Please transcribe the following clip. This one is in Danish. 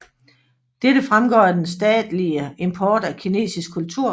Dette fremgår af den stadige import af kinesisk kultur